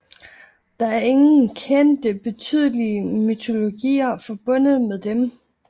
Der er ingen kendte betydelige mytologier forbundet med dem